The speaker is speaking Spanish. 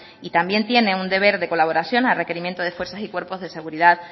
y también tiene un deber de colaboración a requerimiento de estas fuerzas y cuerpos de seguridad